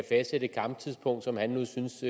fastsætte et kamptidspunkt som han nu synes